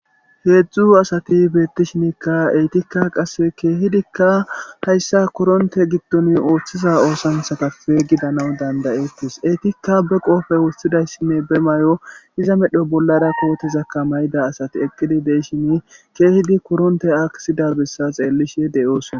Heedzdzu asati beettishinikka etikka qasse keehidikka hayssa koronte gidton ooththiza oosanthatafe gidanaw dandayettis eetikka be qoofe wossidayssinne be may'o iza medho bollara kootizakka mayda asati eqqidi deyshini keehidi koronte aksida bessa xeellishe de'oosona